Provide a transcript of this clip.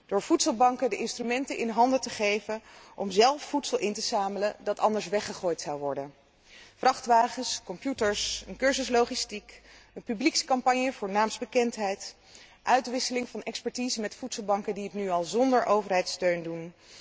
Door voedselbanken de instrumenten in handen te geven om zelf voedsel in te zamelen dat anders weggegooid zou worden vrachtwagens, computers, een cursus logistiek, een publiekscampagne voor naamsbekendheid, uitwisseling van expertise met voedselbanken die het nu al zonder overheidssteun doen.